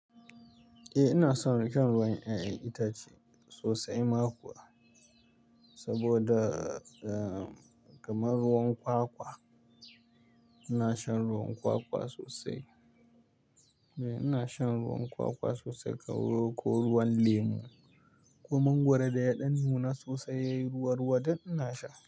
Eh ina son shan ruwan 'ya'yan itace sosai ma kuwa. Saboda, eh, kamar ruwan kwakwa, ina shan ruwan kwakwa sosai. Eh ina shan ruwan kwakwa sosai ko ruwan lemu ko mangwaro da yaɗan nuna sosai ruwa-ruwa duk ina sha.